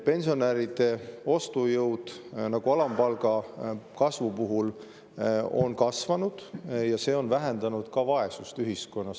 Pensionäride ostujõud, nagu alampalga kasvu puhul, on kasvanud ja see on vähendanud vaesust ühiskonnas.